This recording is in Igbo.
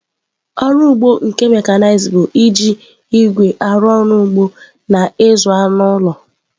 Ọrụ ugbo nke mekanized bụ iji igwe arụ ọrụ ugbo na ịzụ anụ ụlọ.